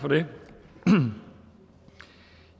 vil jeg